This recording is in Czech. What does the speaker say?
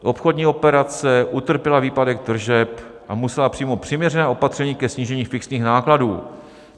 Obchodní operace, utrpěla výpadek tržeb a musela přijmout přiměřená opatření ke snížení fixních nákladů.